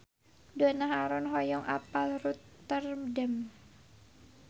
Donna Harun hoyong apal Rotterdam